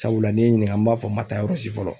Sabula ni ye n ɲininga n b'a fɔ n ma taa yɔrɔ si fɔlɔ